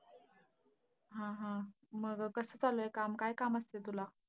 हा हा. मग कसं चाललंय काम? काय काम असतंय तुला?